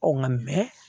Ɔ nka